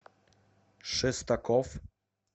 шестаков